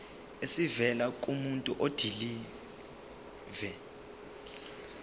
esivela kumuntu odilive